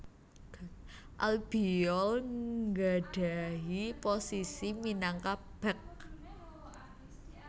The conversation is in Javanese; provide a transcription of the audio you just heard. Albiol nggadhahi posisi minangka bek